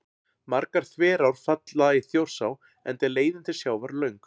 Margar þverár falla í Þjórsá enda er leiðin til sjávar löng.